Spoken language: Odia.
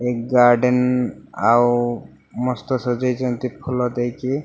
ଏହି ଗାର୍ଡେନ ଆଉ ମସ୍ତ ସଜେଇ ଛନ୍ତି ଫୁଲ ଦେକୀ ।